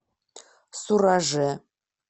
сураже